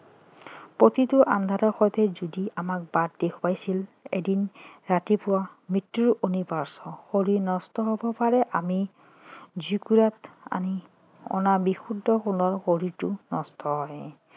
প্ৰতিটো আন্ধাৰৰ সৈতে যুঁজি আমাক বাট দেখুৱাইছিল এদিন ৰাতিপুৱা মৃত্যু অনিৰ্বায্য শৰীৰ নশ্বৰ হব পাৰে আমি জুইকুৰাত আমি অনা বিশুদ্ধ সোণৰ শৰীৰটো নষ্ট হয়